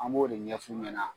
An b'o de ɲɛf'u ɲɛna